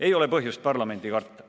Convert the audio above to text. Ei ole põhjust parlamenti karta.